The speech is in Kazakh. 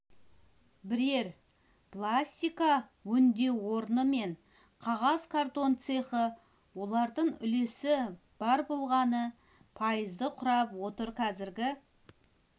бірер пластика өңдеу орны мен қағаз-картон цехы олардың үлесі бар болғаны пайызды құрап отыр қазіргі